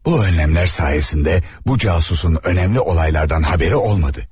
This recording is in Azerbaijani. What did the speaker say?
Bu önləmlər sayəsində bu casusun önəmli olaylardan xəbəri olmadı.